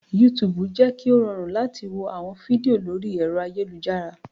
Yútùùbù jẹ́ kí ó rọrùn láti wo àwọn fídíò lórí ẹ̀rọ ayélujára